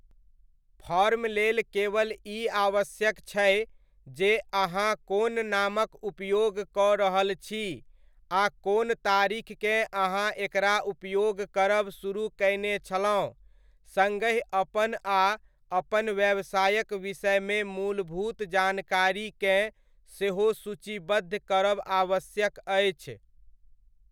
Form लेल केवल ई आवश्यक छै जे अहाँ कोन नामक उपयोग कऽ रहल छी आ कोन तारीखकेँ अहाँ एकरा उपयोग करब सुरुह कयने छलहुँ, सङ्गहि अपन आ अपन व्यवसायक विषयमे मूलभूत जानकारीकेँ सेहो सूचीबद्ध करब आवश्यक अछि।